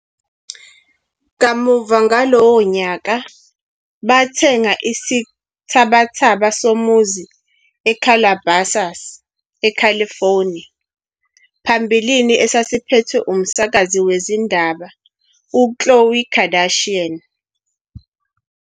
Kamuva ngalowo nyaka, bathenga isithabathaba somuzi eCalabasas, eCalifornia phambilini esasiphethwe umsakazi wezindaba uKhloé Kardashian.